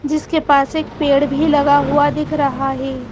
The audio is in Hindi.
जिसके पास एक पेड़ भी लगा हुआ दिख रहा है।